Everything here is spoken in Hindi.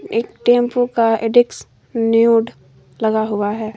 एक टेम्पु का एडिक्स न्यूड लगा हुआ है।